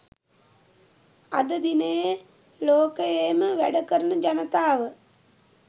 අද දිනයේ ලෝකයේම වැඩ කරන ජනතාව